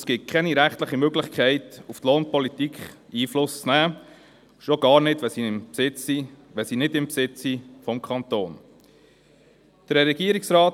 Es gibt keine rechtliche Möglichkeit, auf ihre Lohnpolitik Einfluss zu nehmen, schon gar nicht, wenn sie sich nicht in Besitz des Kantons befinden.